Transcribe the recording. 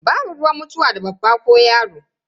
Babu ruwan mutuwa da babba ko yaro.